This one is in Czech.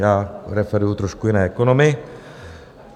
Já preferuji trošku jiné ekonomy.